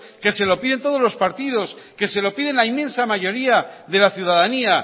que se lo piden todos los partidos que se lo pide la inmensa mayoría de la ciudadanía